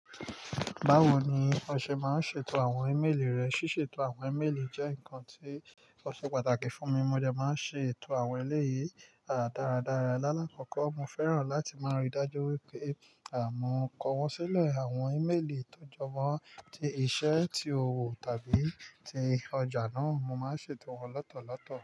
Bawo ni o ṣe máa ń ṣètò àwọn ímeèlì rẹ? Síṣètò àwọn ímeèlì jẹ́ nǹkan tí ó ṣe pàtàkì fún mi. Mo dẹ máa ń ṣètò àwọn ẹlẹ́yìí dáradára. Láàlakọ́kọ́, mo fẹ́ràn láti máa ríi dájú wípé à mọ̀kọ wọ́n sílẹ̀ àwọn ímeèlì tọ́jọ mọ́, tí iṣẹ́, tí òwò tàbí ti ọjà náà, mo máa ń ṣètò wọn lotọ̀lọ̀tọ̀